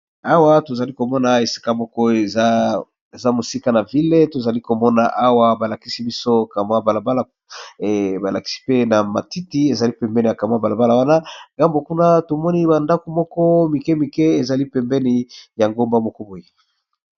Awa, tozali komona esika moko eza mosika na ville. Tozali komona awa balakisi biso kamwa balabala. Balakisi mpe na matiti ezali pembeni ya kamwa balabala wana. Ngambo kuna, tomoni bandako moko mike mike ezali pembeni ya ngomba moko boye.